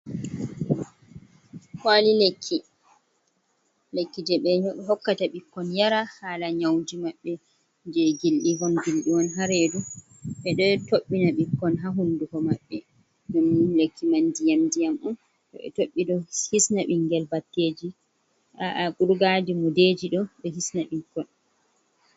Kwali lekki, lekki je ɓe hokkata ɓikkon yara, hala nyauji mabɓe je gilɗi hon, gilɗi hon ha redu, ɓeɗo toɓɓina ɓikkon ha hunduko maɓɓe, ɗum lekki man ndiyam - ndiyam on, to be tobɓi do hisna bingel batteji, aa kurgaji, mudeji do ɓe hisna ɓikkon.